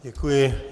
Děkuji.